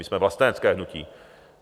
My jsme vlastenecké hnutí.